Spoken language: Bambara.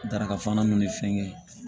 Daraka fana nun ni fɛngɛ